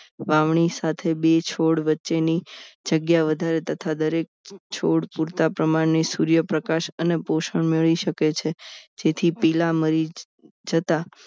વાવણી સાથે બે છોડ વચ્ચેની જગ્યા વધારે તથા દરેક છોડ પૂરતા પ્રમાણે સૂર્યપ્રકાશ અને પોષણ મેળવી શકે છે જેથી પેલા મરી જતા